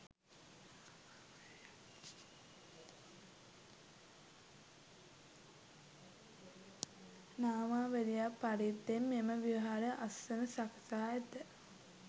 නාමාවලියක් පරිද්දෙන් මෙම විහාර අස්න සකසා ඇත.